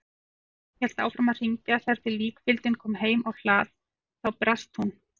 Klukkan hélt áfram að hringja þar til líkfylgdin kom heim á hlað, þá brast hún.